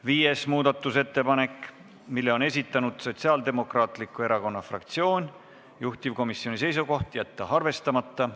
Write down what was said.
Viies muudatusettepanek, mille on esitanud Sotsiaaldemokraatliku Erakonna fraktsioon, juhtivkomisjoni seisukoht: jätta arvestamata.